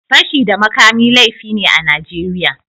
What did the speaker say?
Fashi da makami laifi ne a Najeriya